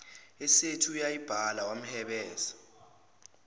esethi uyayibala wamhebeza